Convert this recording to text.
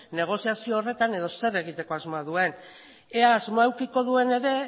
negoziazio horretan edo zer egiteko asmoa duen ea asmoa edukiko duen ere